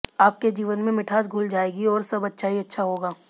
आपके जीवन में मिठास घुल जायेगी और सब अच्छा ही अच्छा होगा